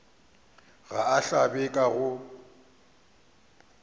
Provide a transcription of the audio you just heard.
ga a hlabe ka go